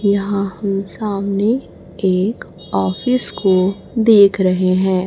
यहां हम सामने एक ऑफिस को देख रहे हैं।